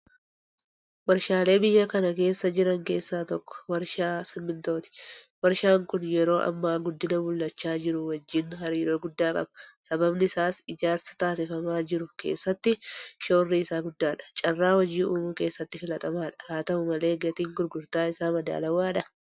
Warshaalee biyya kana keessa jiran keessa tokko warshaa Simmintooti. Warshaan kun yeroo ammaa guddina mul'achaa jiru wajjin hariiroo guddaa qaba. Sababni isaas ijaarsa adeemsifamaa jiru keessatti shoorri isaa guddaadha. Carraa hojii uumuu keessattis filatamaadha. Haata'u malee gatiin gurgurtaa isaa madaalawaadhaa?